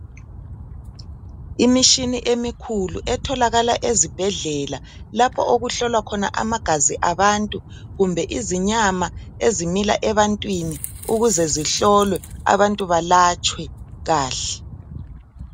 Imishini emikhulu etholakala ezibhedlela , lapho okuhlolwa khona amagazi abantu kumbe izinyama ezimila ebantwini ukuze zihlolwe abantu balatshwe kahle.